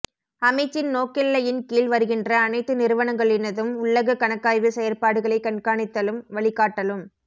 அமைச்சின் நோக்கெல்லையின் கீழ் வருகின்ற அனைத்து நிறுவனங்களினதும் உள்ளக கணக்காய்வு செயற்பாடுகளை கண்காணித்தலும் வழிகாட்டலும்